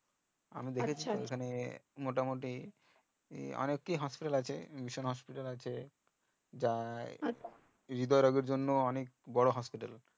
আমি দেখেছি ওখানে মোটামোটি অনেক এ হাসপাতাল আছে হাসপাতাল আছে যাই হৃদয় রজার জন্য অনেক বোরো হাসপাতাল